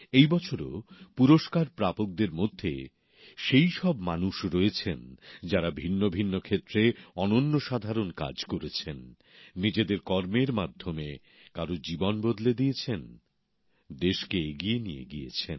এই বছরও সম্মান প্রাপকদের মধ্যে সেই সব মানুষ রয়েছেন যাঁরা ভিন্ন ভিন্ন ক্ষেত্রে অনন্যসাধারণ কাজ করেছেন নিজেদের কর্মের মাধ্যমে কারও জীবন বদলে দিয়েছেন দেশকে এগিয়ে নিয়ে গিয়েছেন